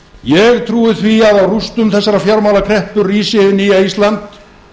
ég trúi því að á rústum þessarar fjármálakreppu rísi hið nýja ísland